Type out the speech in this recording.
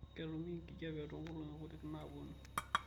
ketumi enkijape tonkolong'i kutik naapuonu